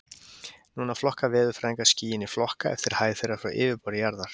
Núna flokka veðurfræðingar skýin í flokka eftir hæð þeirra frá yfirborði jarðar.